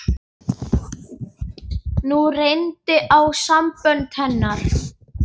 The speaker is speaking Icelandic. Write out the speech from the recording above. Nú reyndi á sambönd hennar.